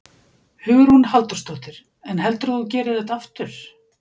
Hugrún Halldórsdóttir: En heldurðu að þú gerir þetta aftur?